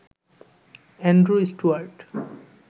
Andrew Stuart